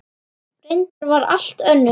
Reyndin var allt önnur.